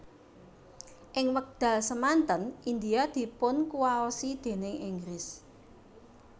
Ing wekdal semanten India dipunkuwaosi déning Inggris